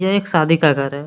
यह एक शादी का घर है।